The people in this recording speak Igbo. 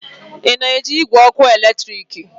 Ị na-eji igwe ọkụ eletrik?